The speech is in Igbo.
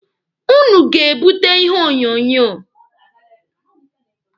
Ụnụ ga-ebute ihe onyonyo.